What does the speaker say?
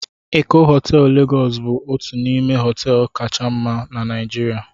Eko họteelụ Legos bụ otu n'ime họteelụ kacha mma na Naijirịa